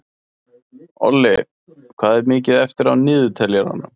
Olli, hvað er mikið eftir af niðurteljaranum?